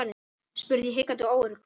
spurði ég hikandi og óörugg.